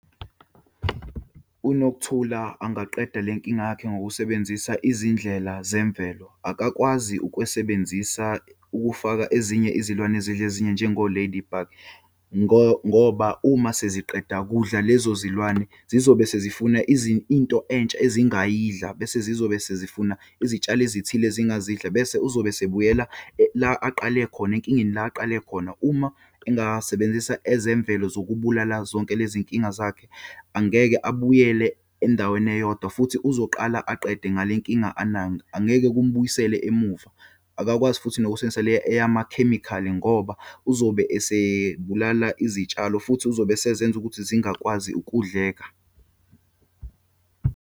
UNokuthula angaqeda lenkinga yakhe ngokusebenzisa izindlela zemvelo. Akakwazi ukwesebenzisa ukufaka ezinye izilwane ezidla ezinye, njengo-ladybug ngoba uma seziqeda kudla lezo zilwane, zizobe sezifuna into entsha ezingayidlala bese zizobe zezifuna izitshalo ezithile ezingazidla. Bese uzobe esebuyela la aqale khona, enkingeni la aqale khona. Uma engasebenzisa ezemvelo zokubulala zonke lezinkinga zakhe, angeke abuyele endaweni eyodwa futhi uzoqala aqede ngale nkinga anayo, angeke kumbuyisele emuva. Akakwazi futhi nokusebenzisa le eyamakhemikhali ngoba uzobe esebulala izitshalo futhi uzobe esezenza ukuthi zingakwazi ukudleka.